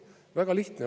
Väga lihtne.